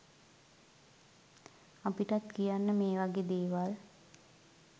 අපිටත් කියන්න මේ වගේ දේවල්